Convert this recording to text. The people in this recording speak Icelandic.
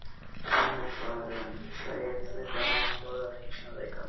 Hann er farinn segið þið bara en þolið ekki sannleikann.